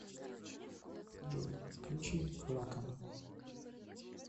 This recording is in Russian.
джой включи ракам